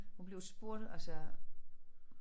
Hun blev spurgt altså